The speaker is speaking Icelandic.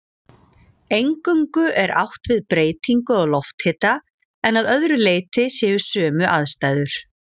Eingöngu er átt við breytingu á lofthita en að öðru leyti séu sömu aðstæður.